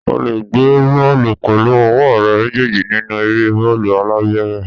O le gbé bọ́ọ̀lù pẹ̀lú ọwọ́ rẹ méjèèjì nínú eré bọ́ọ̀lù alápẹ̀rẹ̀.